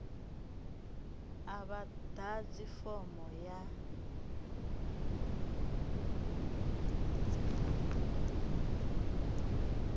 a vha ḓadzi fomo ya